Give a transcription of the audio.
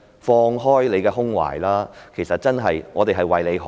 放開胸懷吧，其實我們真的是為他好。